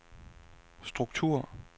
struktur